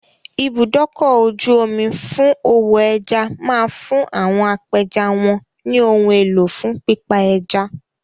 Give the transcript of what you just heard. Ibùdókọ̀-ojú-omi fún òwò ẹja máa fún àwọn apẹja wọn ní ohun elo fún pípa ẹja.